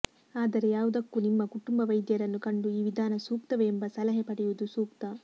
ಆದರೆ ಯಾವುದಕ್ಕೂ ನಿಮ್ಮ ಕುಟುಂಬ ವೈದ್ಯರನ್ನು ಕಂಡು ಈ ವಿಧಾನ ಸೂಕ್ತವೇ ಎಂಬ ಸಲಹೆ ಪಡೆಯುವುದು ಸೂಕ್ತ